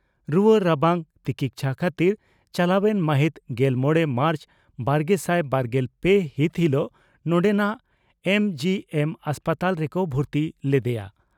ᱨᱩᱣᱟᱹ ᱨᱟᱵᱟᱝ ᱛᱤᱠᱪᱷᱟ ᱠᱷᱟᱹᱛᱤᱨ ᱪᱟᱞᱟᱣᱮᱱ ᱢᱟᱹᱦᱤᱛ ᱜᱮᱞ ᱢᱚᱲᱮ ᱢᱟᱨᱪ ᱵᱟᱨᱜᱮᱥᱟᱭ ᱵᱟᱨᱜᱮᱞ ᱯᱮ ᱦᱤᱛ ᱦᱤᱞᱚᱜ ᱱᱚᱰᱮᱱᱟᱜ ᱮᱢᱹᱡᱤᱹᱮᱢ ᱦᱟᱥᱯᱟᱛᱟᱞ ᱨᱮᱠᱚ ᱵᱷᱩᱨᱛᱤ ᱞᱮᱫᱮᱭᱟ ᱾